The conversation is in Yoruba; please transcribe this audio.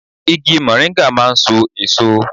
Igi mọ̀ríńgà máà ń so èso